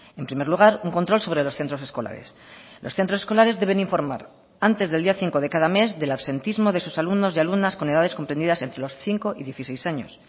en primer lugar un control sobre los centros escolares los centros escolares deben informar antes del día cinco de cada mes del absentismo de sus alumnos y alumnas con edades comprendidas entre los cinco y dieciséis años